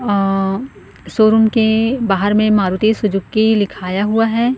अ showroom के बाहर में मारुति सुजुकी लिखाया हुआ है।